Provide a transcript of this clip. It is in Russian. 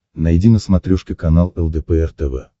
найди на смотрешке канал лдпр тв